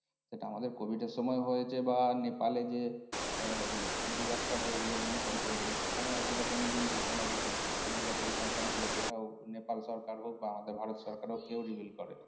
এটা আমাদের covid এর সময়েও হয়েছে বা নেপালে যে আহ disaster হয়েছিল। ভূমিকম্প হয়েছিল সেখানেও এক রকমেরই ঘটনা ঘটেছিলো ওখানেও যা পরিসংখ্যান ছিল সেটাও নেপাল সরকার হোক বা আমাদের ভারত সরকার হোক কেউ reveal করেনি।